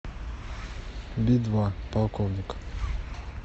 би два полковник